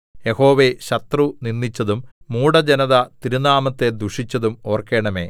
യഹോവേ ശത്രു നിന്ദിച്ചതും മൂഢജനത തിരുനാമത്തെ ദുഷിച്ചതും ഓർക്കണമേ